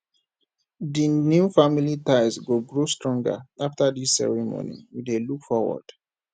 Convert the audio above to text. the new family ties go grow stronger after this ceremony we dey look forward